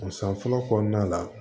O san fɔlɔ kɔnɔna la